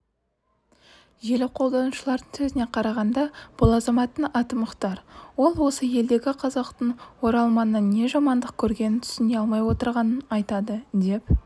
желі қолданушыларының сөзіне қарағанда бұл азаматтың аты мұхтар ол осы елдегі қазақтың оралманнан не жамандық көргенін түсіне алмай отырғанын айтады деп